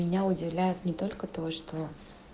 меня удивляет не только то что